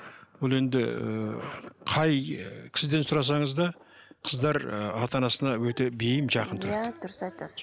бұл енді ыыы қай ы кісіден сұрасаңыз да қыздар ы ата анасына өте бейім жақын тұрады иә дұрыс айтасыз